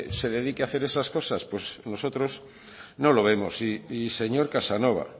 se dedique a hacer esas cosas pues nosotros no lo vemos y señor casanova